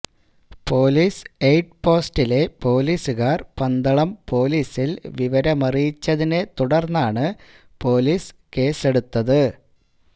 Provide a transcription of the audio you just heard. police aid പോസ്റ്റിലെ പോലീസുകാര് പന്തളം പോലീസില് വിവരമറിയിച്ചതിനേത്തുടര്ന്നാണ് പോലീസ് കേസെടുത്തത്